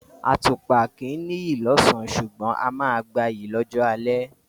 Àtùpà kìí ní’yì lọ́ọ̀sán, ṣugbọ̀n a máa gba’yì lọ́jọ́ alẹ́